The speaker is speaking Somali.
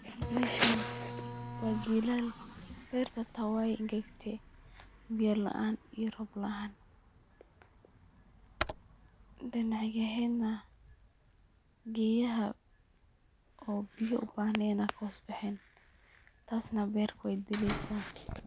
Meshan waa jilal, berta hata way engegte, biya laan iyo Rob laan, dhinacyaheena gedaha oo biyo ubahnen ay kahoos bexeen, taasna berta way dileysa